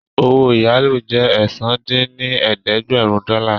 Owó ìyálò jẹ́ ẹ̀sán dín ní ẹ̀ẹ́dẹ́gbẹ́rún dọ́là